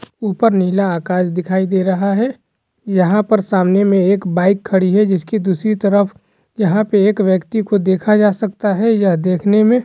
ऊपर नीला आकाश दिखाई दे रहा है यहाँ पर सामने में एक बाइक खड़ी है जिसकी दूसरी तरफ एक व्यक्ति को देखा जा सकता है ये देखने में--